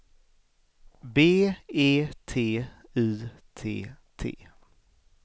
B E T Y T T